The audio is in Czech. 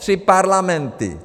Tři parlamenty!